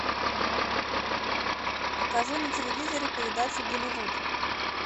покажи на телевизоре передачу голливуд